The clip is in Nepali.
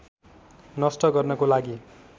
नष्ट गर्नको लागि